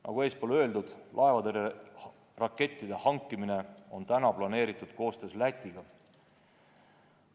Nagu eespool öeldud, laevatõrjerakettide hankimine on kavas koostöös Lätiga.